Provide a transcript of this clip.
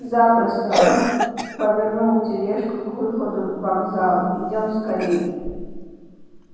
запросто рон повернул тележку к выходу вокзала идём скорее